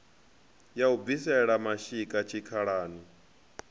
ya u bvisela mashika tshikhalani